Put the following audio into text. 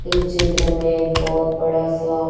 इस चित्र में एक बहुत बड़ा सा--